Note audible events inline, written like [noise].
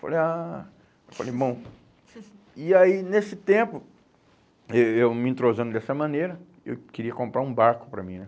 Falei, ah... Falei, bom... [laughs] E aí, nesse tempo, eh eu me entrosando dessa maneira, eu queria comprar um barco para mim, né?